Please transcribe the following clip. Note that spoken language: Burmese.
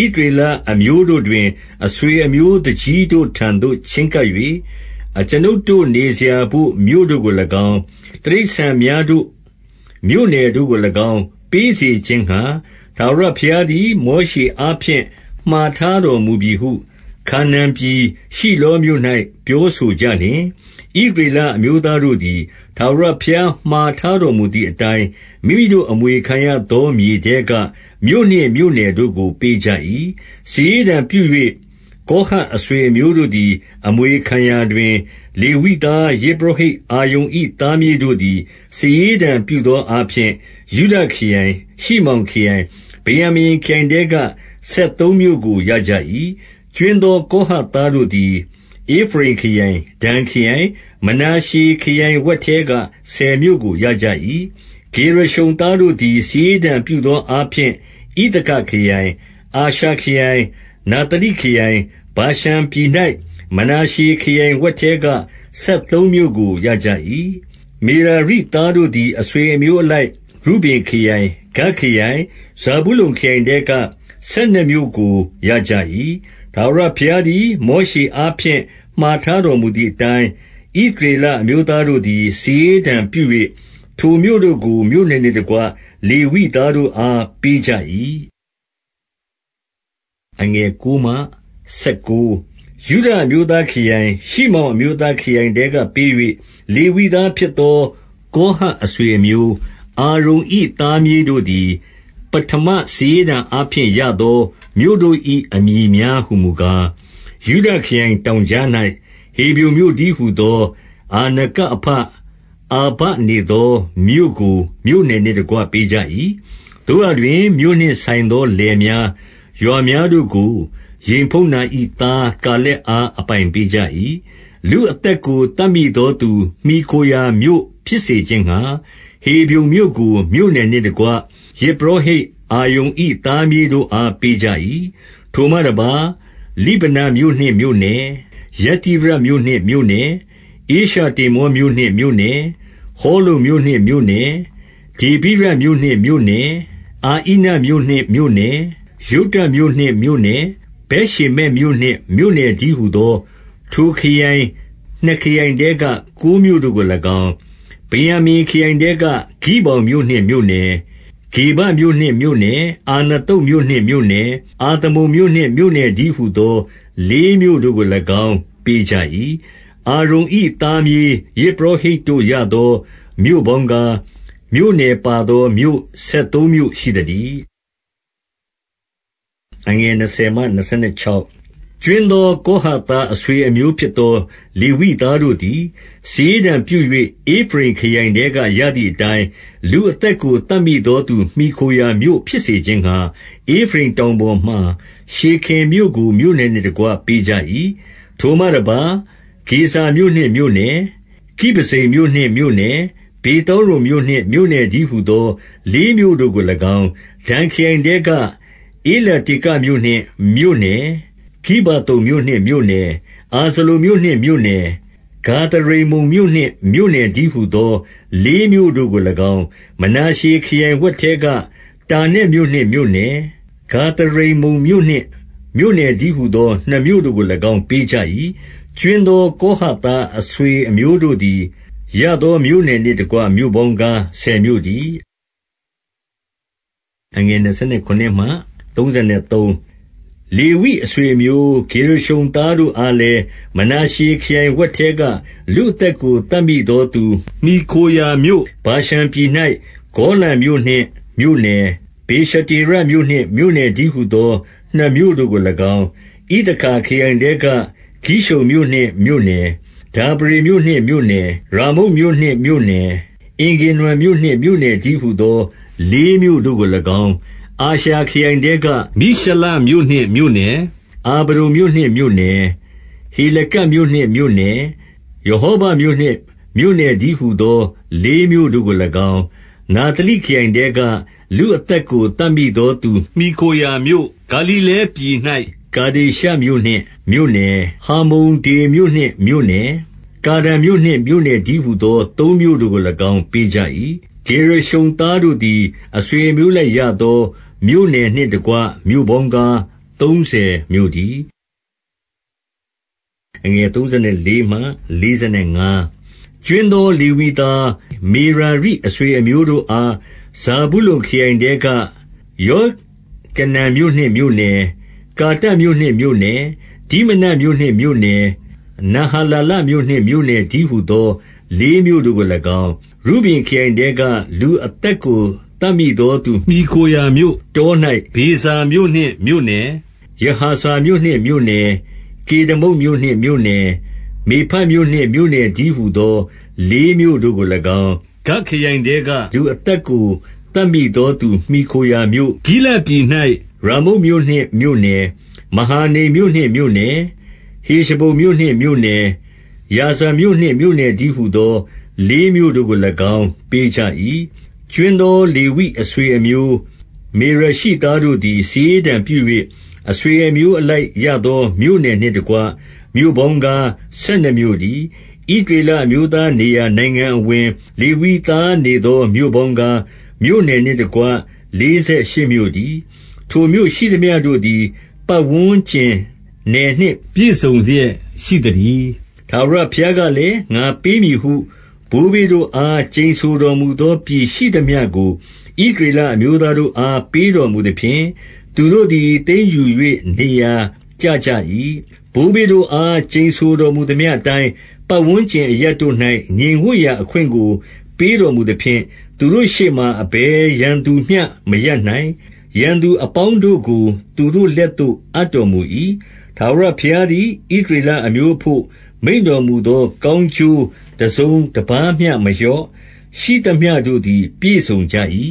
၊ ဣသရေလအမျိုး တို့တွင် အဆွေအမျိုးသူကြီးတို့ထံသို့ ချဉ်းကပ်၍၊ 2 အကျွန်ုပ်တို့ နေစရာဘို့ မြို့တို့ကို၎င်း၊ တိရစ္ဆာန် များတို့မြို့နယ်တို့ကို၎င်း ပေးစေခြင်းငှါ ထာဝရဘုရား သည် မောရှေအားဖြင့် မှာထားတော်မူပြီဟု ခါနာန်ပြည်၊ ရှိလောမြို့၌ ပြောဆိုကြလျှင်၊ 3 ဣသရေလအမျိုးသားတို့သည် ထာဝရဘုရား မှာထားတော်မူသည်အတိုင်း၊ မိမိတို့အမွေခံရသော မြေထဲ က၊ မြို့နှင့် မြို့နယ်တို့ကို ပေးကြ၏။ 4 စာရေးတံပြု၍ ကောဟတ်အဆွေအမျိုးတို့သည် အမွေခံရာတွင်၊ လေဝိသား ယဇ်ပုရောဟိတ် အာရုန်၏ သားမြေးတို့သည် စာရေးတံပြုသောအားဖြင့်၊ ယုဒခရိုင်၊ ရှိမောင်ခရိုင်၊ ဗင်္ယာမိန်ခရိုင်ထဲက ဆယ်သုံးမြို့ကို ရကြ၏။ 5 ကြွင်းသော ကောဟတ်သားတို့သည် ဧဖရိမ် ခရိုင်၊ ဒန်ခရိုင်၊ မနာရှေခရိုင် ဝက်ထဲက ဆယ်မြို့ကို ရကြ၏။ 6 ဂေရရှုံသားတို့သည် စာရေးတံပြုသောအားဖြင့်၊ ဣသခါခရိုင်၊ အာရှာခရိုင်၊ နဿလိခရိုင်၊ ဗာရှန်ပြည်၌ မနာရှေခရိုင်ဝက်ထဲက၊ ဆယ်သုံးမြို့ကို ရကြ၏။ 7 မေရာရိသားတို့သည် အဆွေအမျိုးအလိုက် ရုဗင်ခရိုင်၊ ဂဒ်ခရိုင်၊ ဇာဗုလုန်ခရိုင်ထဲက၊ ဆယ်နှစ်မြို့ကို ရကြ၏။ 8 ထာဝရဘုရားသည် မောရှေအားဖြင့် မှာထား တော်မူသည်အတိုင်း၊ ဣသရေလအမျိုးသားတို့သည် စာရေးတံပြု၍ ထိုမြို့တို့ကို မြို့နယ်နှင့်တကွ လေဝိသား တို့အား ပေးကြ၏။ 9 ယုဒအမျိုးသားခရိုင်၊ ရှိမောင်အမျိုးသားခရိုင်ထဲ က ပေး၍ လေဝိသားဖြစ်သော ကောဟတ်အဆွေအမျိုး၊ 10 အာရုန်၏သားမြေးတို့သည် ပဌမစာရေးတံ အားဖြင့်ရသော မြို့တို့၏ အမည်များဟူမူကား၊ 11 ယုဒခရိုင်တောင်ကြား၌ ဟေဗြုန်မြို့တည်းဟူ သော အာနကအဘ အာဘနေသောမြို့ကို မြို့နယ်နှင့် တကွ ပေးကြ၏။ 12 သို့ရာတွင် မြို့နှင့်ဆိုင်သော လယ်များ၊ ရွာများ တို့ကို ယေဖုန္နာ၏သား ကာလက်အား အပိုင်ပေးကြ၏။ 13 လူအသက်ကို သတ်မိသောသူ မှီခိုရာမြို့ဖြစ်စေ ခြင်းငှါ၊ ဟေဗြုန်မြို့ကို မြို့နယ်နှင့်တကွ ယဇ်ပုရောဟိတ် အာရုန်၏သားမြေးတို့အား ပေးကြ၏။ 14 ထိုမှတပါး၊ လိဗနမြို့နှင့်မြို့နယ်၊ ယတ္တိရမြို့နှင့် မြို့နယ်၊ ဧရှတေမောမြို့နှင့် မြို့နယ်၊ 15 ဟောလုန်မြို့နှင့် မြို့နယ်၊ ဒေဗိရမြို့နှင့် မြို့နယ်၊ 16 အဣနမြို့နှင့် မြို့နယ်၊ ယုတ္တမြို့နှင့် မြို့နယ်၊ ဗက်ရှေမက်မြို့နှင့် မြို့နယ်တည်းဟူသော ထိုခရိုင်နှစ်ခရိုင် ထဲက ကိုးမြို့တို့ကို၎င်း၊ 17 ဗင်္ယာမိန်ခရိုင်ထဲက ဂိဗောင်မြို့နှင့် မြို့နယ်၊ ဂေဗမြို့နှင့် မြို့နယ်၊ 18 အာနသုတ်မြို့နှင့် မြို့နယ်၊ အာလမုန်မြို့နှင့် မြို့နယ်တည်းဟူသော လေးမြို့တို့ကို၎င်း ပေးကြ၏။ 19 အာရုန်၏သားမြေး ယဇ်ပုရောဟိတ်တို့ရသော မြို့ပေါင်းကား၊ မြို့နယ်ပါသောမြို့ ဆယ်သုံးမြို့ရှိသတည်း။ 20 ကြွင်းသောကောဟတ်သား အဆွေအမျိုးဖြစ် သော လေဝိသားတို့သည် စာရေးတံပြု၍ ဧဖရိမ်ခရိုင်ထဲ က ရသည်အတိုင်း၊ 21 လူအသက်ကို သတ်မိသောသူမှီခိုရာမြို့ ဖြစ်စေ ခြင်းငှါ၊ ဧဖရိမ်တောင်ပေါ်မှာ ရှေခင်မြို့ကို မြို့နယ်နှင့် တကွ ပေးကြ၏။ 22 ထိုမှတပါး ဂေဇာမြို့နှင့်မြို့နယ်၊ ကိဗဇိမ်မြို့နှင့် မြို့နယ်၊ ဗေသောရုန်မြို့နှင့် မြို့နယ်တည်းဟူသော လေး မြို့တို့ကို၎င်း၊ 23 ဒန်ခရိုင်ထဲက ဧလတေကမြို့နှင့် မြို့နယ်၊ ဂိဗ္ဗိ သုန်မြို့နှင့် မြို့နယ်၊ 24 အာဇလုန်မြို့နှင့် မြို့နယ်၊ ဂါသရိမ္မုန်မြို့နှင့် မြို့နယ်တည်းဟူသော လေးမြို့တို့ကို၎င်း၊ 25 မနာရှေခရိုင်ဝက်ထဲက တာနက်မြို့နှင့် မြို့နယ်၊ ဂါသရိမ္မုန်မြို့နှင့် မြို့နယ်တည်းဟူသော နှစ်မြို့တို့ကို၎င်း ပေးကြ၏။ 26 ကြွင်းသော ကောဟတ်သားအဆွေအမျိုးတို့ သည် ရသောမြို့နယ်နှင့်တကွ မြို့ပေါင်းကား ဆယ်မြို့ တည်း။ 27 လေဝိအဆွေအမျိုး၊ ဂေရရှုံသားတို့အားလည်း၊ မနာရှေခရိုင်ဝက်ထဲက လူအသက်ကို သတ်မိသောသူ မှီခိုရာမြို့၊ ဗာရှန်ပြည်၌ ဂေါလန်မြို့နှင့် မြို့နယ်၊ ဗေရှတေ ရမြို့နှင့် မြို့နယ်တည်းဟူသော နှစ်မြို့တို့ကို၎င်း၊ 28 ဣသခါခရိုင်ထဲက ကိရှုန်မြို့နှင့် မြို့နယ်၊ ဒါဗရေ မြို့နှင့် မြို့နယ်၊ 29 ယာမုတ်မြို့နှင့် မြို့နယ်၊ အင်္ဂန္နမ်မြို့နှင့်မြို့နယ် တည်းဟူသော လေးမြို့တို့ကို၎င်း၊ 30 အာရှာခရိုင်ထဲက မိရှလမြို့နှင့်မြို့နယ်၊ အာဗ ဒုန်မြို့နှင့် မြို့နယ်၊ 31 ဟေလကတ်မြို့နှင့် မြို့နယ်၊ ရဟောဘမြို့နှင့် မြို့နယ်တည်းဟူသော လေးမြို့တို့ကို၎င်း၊ 32 နဿလိခရိုင်ထဲက၊ လူအသက်ကို သတ်မိသော သူမှီခိုရာမြို့၊ ဂါလိလဲပြည်၌ ကေဒေရှမြို့နှင့် မြို့နယ်၊ ဟမ္မုဒ္ဒေါမြို့နှင့် မြို့နယ်၊ ကာတံမြို့နှင့် မြို့နယ်တည်းဟူ သော သုံးမြို့တို့ကို၎င်း ပေးကြ၏။ 33 ဂေရရှုံသားတို့သည်၊ အဆွေအမျိုးအလိုက်ရ သော မြို့နယ်နှင့်တကွ မြို့ပေါင်းကား ဆယ်သုံးမြို့တည်း။ 34 ကြွင်းသော လေဝိသား၊ မေရာရိအဆွေအမျိုးတို့ အား ဇာဗုလုန်ခရိုင်ထဲက ယောကနံမြို့နှင့် မြို့နယ်၊ ကာတမြို့နှင့်မြို့နယ်၊ 35 ဒိမနမြို့နှင့် မြို့နယ်၊ နဟာလာလမြို့နှင့်မြို့နယ် တည်းဟူသော လေးမြို့တို့ကို၎င်း၊ 36 ရုဗင်ခရိုင်ထဲက လူအသက်ကို သတ်မိသောသူ မှီခိုရာမြို့၊ တော၌ ဗေဇာမြို့နှင့် မြို့နယ်၊ ယဟာဇမြို့နှင့် မြို့နယ်၊ 37 ကေဒမုတ်မြို့နှင့်မြို့နယ်၊ မေဖတ်မြို့နှင့် မြို့နယ် တည်းဟူသော လေးမြို့တို့ကို၎င်း၊ 38 ဂဒ်ခရိုင်ထဲက၊ လူအသက်ကို သတ်မိသောသူမှီ ခိုရာမြို့၊ ဂိလဒ်ပြည်၌ ရာမုတ်မြို့နှင့် မြို့နယ်၊ မဟာနိမ်မြို့ နှင့် မြို့နယ်၊ 39 ဟေရှဘုန်မြို့နှင့် မြို့နယ်၊ ယာဇာမြို့နှင့် မြို့နယ် တည်းဟူသော လေးမြို့တို့ကို၎င်း ပေးကြ၏။ 40 ကြွင်းသောလေဝိအဆွေအမျိုး မေရာရိသားတို့ သည် စာရေးတံပြု၍ အဆွေအမျိုးအလိုက်ရသော မြို့ နယ်နှင့်တကွ မြို့ပေါင်းကား ဆယ်နှစ်မြို့တည်း။ 41 ဣသရေလအမျိုးသားနေရာ နိုင်ငံအဝင်၊ လေဝိသားနေသော မြို့ပေါင်းကား၊ မြို့နယ်နှင့်တကွ လေးဆယ်ရှစ်မြို့တည်း။ 42 ထိုမြို့ရှိသမျှတို့သည် ပတ်ဝန်းကျင်နယ်နှင့် ပြည့် စုံလျက်ရှိသတည်း။ 43 ထာဝရဘုရားကလည်း၊ ငါပေးမည်ဟု ဘိုးဘေး တို့အား ကျိန်ဆိုတော်မူသော ပြည်ရှိသမျှကို ဣသရေလ အမျိုးသားတို့အား ပေးတော်မူသဖြင့်၊ သူတို့သည် သိမ်းယူ ၍ နေရာကျကြ၏။ 44 ဘိုးဘေးတို့အား ကျိန်ဆိုတော်မူသမျှအတိုင်း၊ ပတ်ဝန်းကျင်အရပ်တို့၌ ငြိမ်ဝပ်ရာအခွင့်ကို ပေးတော်မူ သဖြင့်၊ သူတို့ရှေ့မှာ အဘယ်ရန်သူမျှမရပ်နိုင်။ ရန်သူ အပေါင်းတို့ကို သူတို့လက်သို့ အပ်တော်မူ၏။ 45 ထာဝရဘုရားသည် ဣသရေလအမျိုးအဘို့ မိန့်တော်မူသော ကောင်းကျိုးတစုံတပါးမျှမလျော့၊ ရှိသမျှ တို့သည် ပြည့်စုံကြ၏။